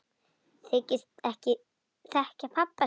Þykist ekki þekkja pabba sinn!